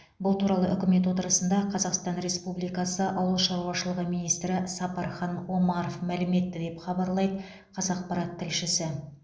бұл туралы үкімет отырысында қазақстан республикасы ауыл шаруашылығы министрі сапархан омаров мәлім етті деп хабарлайды қазақпарат тілшісі